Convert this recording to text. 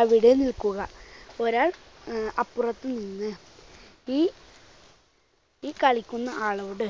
അവിടെ നിൽക്കുക. ഒരാൾ അഹ് അപ്പുറത്തുനിന്ന് ഈ ഈ കളിക്കുന്ന ആളോട്